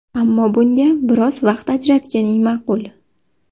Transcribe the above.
Ammo bunga biroz vaqt ajratganing ma’qul.